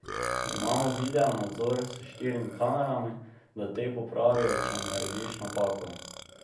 Imamo videonadzor s štirimi kamerami, da te popravijo, če narediš napako.